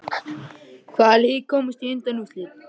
Hvaða lið komast í undanúrslit?